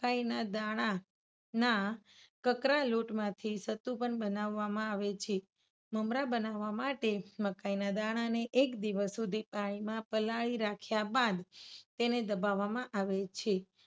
મકાઇના દાણા ના કકરા લોટમાંથી સતુ પણ બનાવવામાં આવે છે. મમરા બનાવવા માટે મકાઇના દાણાને એક દિવસ સુધી પાણીમાં પલાળી રાખ્યા બાદ તેને દબાવવામાં આવે છે.